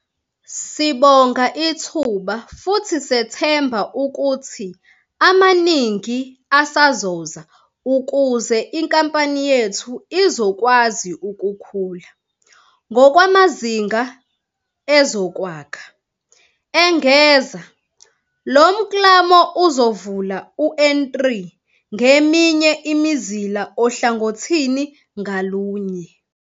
"Sibonga ithuba futhi sethemba ukuthi amaningi asazoza ukuze inkampani yethu izokwazi ukukhula ngokwamazinga ezokwakha," engeza. Lo mklamo uzovula u-N3 ngeminye imizila ohlangothini ngalunye.